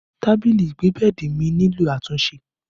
Tábìlì ẹgbẹ́ bẹ́ẹ̀dì mi nílò àtúnṣe